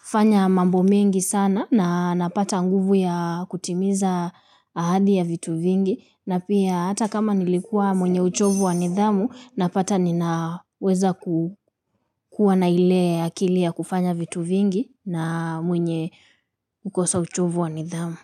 kufanya mambo mingi sana na napata nguvu ya kutimiza ahadi ya vitu vingi na pia hata kama nilikua mwenye uchovu wa nidhamu napata ninaweza kukuwa na ile akili ya kufanya vitu vingi na mwenye ukosa uchovu wa nidhamu.